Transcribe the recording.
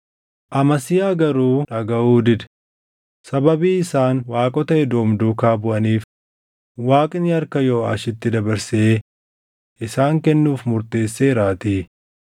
Amasiyaa garuu dhagaʼuu dide; sababii isaan waaqota Edoom duukaa buʼaniif Waaqni harka Yooʼaashitti dabarsee isaan kennuuf murteesseeraatii.